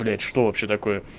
блять что вообще такое